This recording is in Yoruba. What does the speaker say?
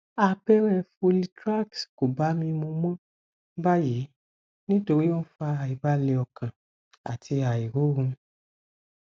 abẹrẹ folitrax kò bá mi mu mọ báyìí nítorí ó ń fa àìbalẹ ọkàn àti àìrọrùn